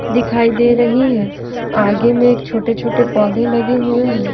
दिखाई दे रही है आगे में एक छोटे-छोटे पौधे लगे हुए हैं।